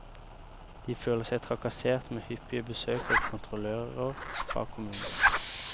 De føler seg trakassert med hyppige besøk av kontrollører fra kommunen.